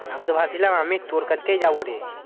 আমিতো ভাবছিলাম আমি তোর কাছকেই যাবো রে।